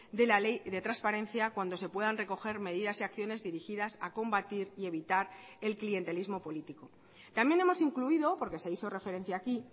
de la ley de transparencia cuando se puedan recoger medidas y acciones dirigidas a combatir y evitar el clientelismo político también hemos incluido porque se hizo referencia aquí